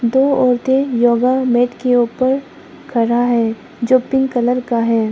दो औरतें योगा मैट के ऊपर खड़ा है जो पिंक कलर का है।